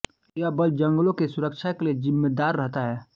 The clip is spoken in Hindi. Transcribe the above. यह बल जंगलों की सुरक्षा के लिए जिम्मेदार रहता है